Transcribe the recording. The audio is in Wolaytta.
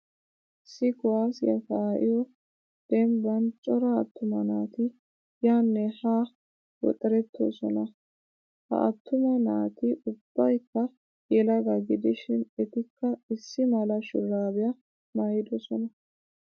Issi kuwaasiya kaa'iyo dembban cora attuma naati yaanne haa woxerettoosona.ha attuma naati ubbayikka yelaga gidishin etikka issi mala shuraabiya mayyidosona.